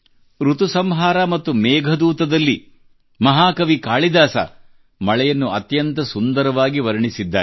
ಋತುಸಂಹಾರ ಮತ್ತು ಮೇಘದೂತದಲ್ಲಿ ಮಹಾಕವಿ ಕಾಳಿದಾಸ ಮಳೆಯನ್ನು ಅತ್ಯಂತ ಸುಂದರವಾಗಿ ವರ್ಣಿಸಿದ್ದಾರೆ